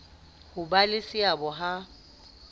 ho ba le seabo ha